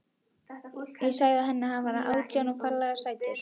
Ég sagði henni að hann væri átján og ferlega sætur.